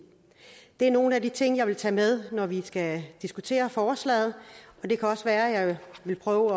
det er nogle af de ting jeg vil tage med når vi skal diskutere forslaget og det kan også være at jeg vil prøve